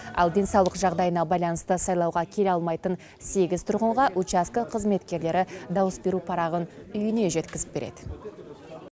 ал денсаулық жағдайына байланысты сайлауға келе алмайтын сегіз тұрғынға учаскі қызметкерлері дауыс беру парағын үйіне жеткізіп береді